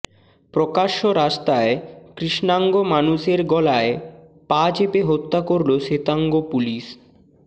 প্রকাশ্য রাস্তায় কৃষ্ণাঙ্গ মানুষের গলারয় পা চেপে হত্যা করল শ্বেতাঙ্গ পুলিশ